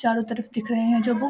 चारो तरफ दिख रहे हैं जो बु --